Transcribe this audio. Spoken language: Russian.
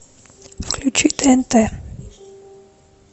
включи тнт